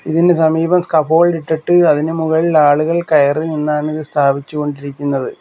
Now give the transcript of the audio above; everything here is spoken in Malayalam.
ഇതിന് സമീപം ഇട്ടിട്ട് അതിനു മുകളിലാളുകൾ കയറി നിന്നാണിത് സ്ഥാപിച്ചുകൊണ്ടിരിക്കുന്നത്.